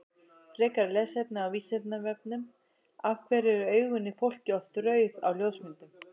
Frekara lesefni á Vísindavefnum Af hverju eru augun í fólki oft rauð á ljósmyndum?